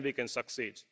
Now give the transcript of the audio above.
Then we can succeed.